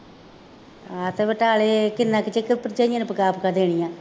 ਹਾਂ ਅਤੇ ਬਟਾਲੇ ਕਿੰਨਾ ਕੁ ਚਿਰ ਭਰਜਾਈਆਂ ਨੇ ਪਕਾ ਪਕਾ ਦੇਣੀਆਂ